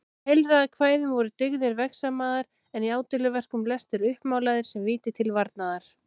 Í heilræðakvæðum voru dyggðir vegsamaðar en í ádeiluverkum lestir uppmálaðir sem víti til varnaðar.